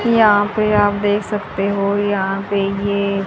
यहाँ पे आप देख सकते हो यहाँ पे ये--